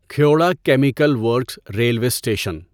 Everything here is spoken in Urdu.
Khewra chemical works railway station